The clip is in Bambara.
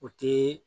O ti